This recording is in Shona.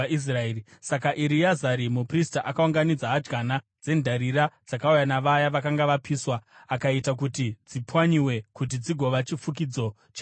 Saka Ereazari muprista akaunganidza hadyana dzendarira dzakauya navaya vakanga vapiswa, akaita kuti dzipwanyiwe kuti dzigova chifukidzo chearitari,